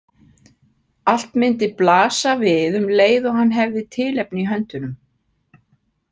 Allt myndi blasa við um leið og hann hefði tilefni í höndunum.